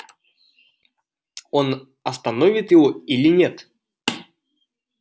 он остановит его или нет